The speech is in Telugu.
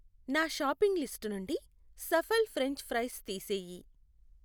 నా షాపింగ్ లిస్టు నుండి సఫల్ ఫ్రెంచ్ ఫ్రైస్ తీసేయి.